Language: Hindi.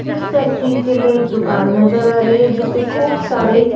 इस तस्वीर के अंदर एक दुकान नजर आ रही है जिस पे खूब सारे--